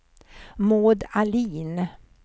Maud Ahlin